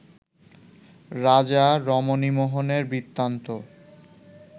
রাজা রমণীমোহনের বৃত্তান্ত